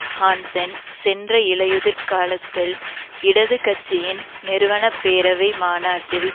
Hansen சென்ற இலையுதிர் காலத்தில் இடது கட்சியின் நிறுவன பேரவை மாநாட்டில்